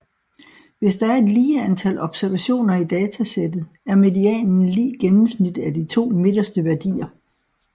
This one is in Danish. Hvis der er et lige antal observationer i datasættet er medianen lig gennemsnittet af de to midterste værdier